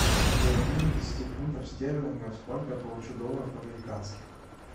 при обмене десяти фунтов стерлингов сколько я получу долларов американских